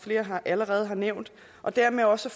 allerede har nævnt og dermed også